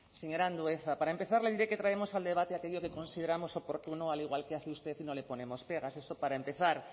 señor andueza para empezar le diré que traemos al debate aquello que consideramos oportuno al igual que hace usted y no le ponemos pegas eso para empezar